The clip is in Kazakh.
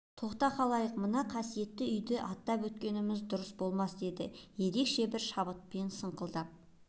тоқта халайық мына қасиетті үйді аттап өткеніміз дұрыс болмас деді ерекше бір шабытпен саңқылдап